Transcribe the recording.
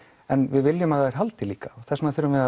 en við viljum að það haldi líka og þess vegna verðum við